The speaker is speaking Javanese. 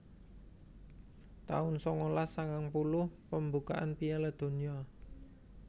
taun sangalas sangang puluh Pembukaan Piala Donya